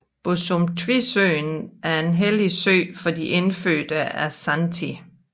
Bosumtwisøen er en hellig sø for de indfødte Ashanti